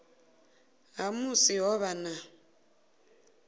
ha musi ho vha na